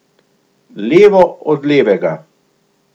Levo od levega.